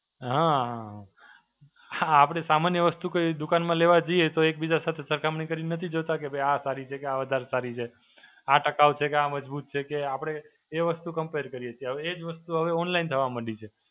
હાં, આપડે સામાન્ય વસ્તુ કોઈ એવું દુકાનમાં લેવા જઈએ તો એક બીજા સાથ સરખામણી કરીને નથી જોતાં કે ભઇ આ સારી છે કે આ વધારે સારી છે. આ ટકાવ છે કે આ મજબૂત છે કે આપડે એ વસ્તુ કમ્પેર કરીએ છે. હવે એ જ વસ્તુ હવે online થવા મંડી છે.